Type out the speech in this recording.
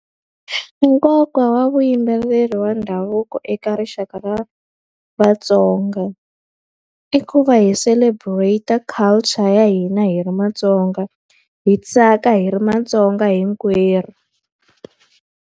Nkoka wa vuyimbeleri wa ndhavuko eka rixaka ra Vatsonga, i ku va hi celebrate-a culture ya hina hi ri Vatsonga. Hi tsaka hi ri Vatsonga hinkwerhu.